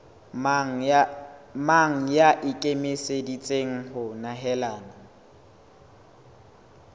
mang ya ikemiseditseng ho nehelana